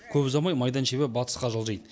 көп ұзамай майдан шебі батысқа жылжиды